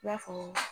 I b'a fɔ